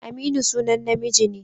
Aminu sunan namiji ne.